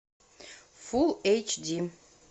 фул эйч ди